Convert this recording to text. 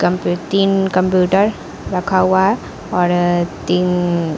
कम्पू- तीन कंप्यूटर रखा हुआ है और तीन--